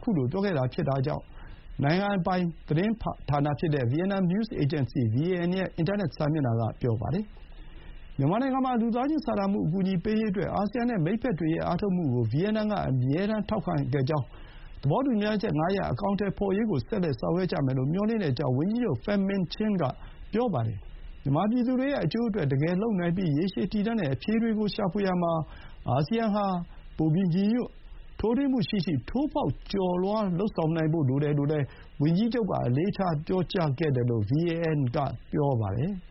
ခုလို ပြောခဲ့တာဖြစ်ကြောင်း နိုင်ငံတော်ပိုင်သတင်းဌာန Vietnam News Agency VAN ရဲ့ အင်တာနက်စာမျက်နှာက ဆိုပါတယ်။ မြန်မာနိုင်ငံမှာ လူသားချင်းစာနာမှု အကူအညီပေးရေးအတွက် အာဆီယံနဲ့ မိတ်ဘက်တွေရဲ့ အားထုတ်မှုကို ဗီယက်နမ်ကအမြဲထောက်ခံခဲ့ကြောင်း၊ သဘောတူမျှချက် ၅ ရပ် အကောင်အထည်ဖော်ရေးကို ဆက်လက်ဆောင်ရွက်ကြမယ်လို့ မျှော်လင့်ကြောင်း ဝန်ကြီးချုပ် Chinh က ဆိုပါတယ်။ မြန်မာပြည်သူတွေရဲ့အကျိုးအတွက် တကယ်လုပ်နိုင်ပြီး ရေရှည်တည်တံ့တဲ့ အဖြေတွေ ရှာဖွေရာမှာ အာဆီယံဟာ ပိုပြီးညီညွတ်၊ ထိုးထွင်းမှုရှိရှိ ထိုးဖောက်ကျော်လွှားနိုင်ဖို့ လိုတယ်လို့လည်း ဝန်ကြီးချုပ်က အလေးထားပြောကြားခဲ့တယ်လို့ VAN က ပြောပါတယ်။